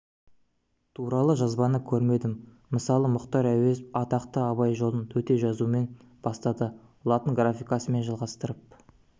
туралы жазбаны көрмедім мысалы мұхтар әуезов атақты абай жолын төте жазумен бастады латын графикасымен жалғастырып